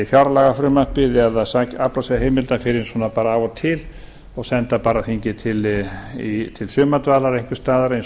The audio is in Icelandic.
fjárlagafrumvarpið eða afla sér heimilda svona bara af og til og senda þingið til sumardvalar einhvers staðar eins